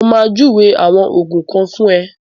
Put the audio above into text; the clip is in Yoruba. Mo ma júwe àwọn Ògùn kan fún ẹ